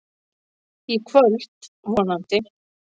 Í kvöld, vonandi.